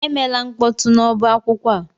Emela mkpọtụ n'ọba akwụkwọ a!